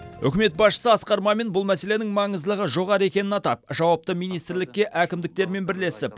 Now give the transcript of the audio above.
үкімет басшысы асқар мамин бұл мәселенің маңыздылығы жоғары екенін атап жауапты министрлікке әкімдіктермен бірлесіп